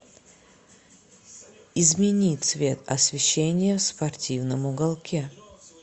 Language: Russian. измени цвет освещение в спортивном уголке